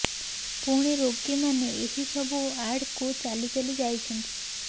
ପୁଣି ରୋଗୀମାନେ ଏହି ସବୁ ୱାର୍ଡ଼କୁ ଚାଲି ଚାଲି ଯାଉଛନ୍ତ